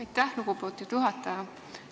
Aitäh, lugupeetud juhataja!